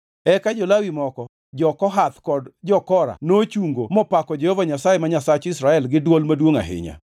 Eka jo-Lawi moko, jo-Kohath kod jo-Kora nochungo mopako Jehova Nyasaye ma Nyasach jo-Israel gi dwol maduongʼ ahinya.